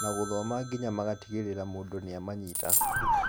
na gũthoma nginya magatigĩrĩra mũndũ nĩamanyita.